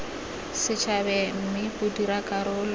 setšhabeng mme bo dira karolo